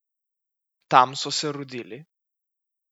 Tam so se rodili.